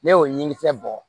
Ne y'o ɲigin kisɛ bɔ